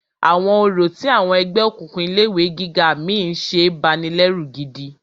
Àwọn orò tí àwọn ẹgbẹ́ òkùnkùn ilé ìwé gíga mí ń ṣe banilẹ́rù gidi.